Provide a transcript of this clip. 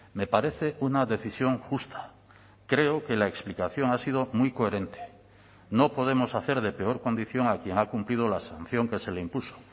me parece una decisión justa creo que la explicación ha sido muy coherente no podemos hacer de peor condición a quien ha cumplido la sanción que se le impuso